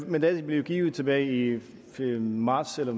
mandatet blev givet tilbage i marts eller